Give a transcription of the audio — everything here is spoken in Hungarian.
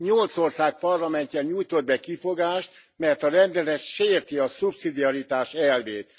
Nyolc ország parlamentje nyújtott be kifogást, mert a rendelet sérti a szubszidiaritás elvét.